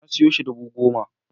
Na siyo shi dubu goma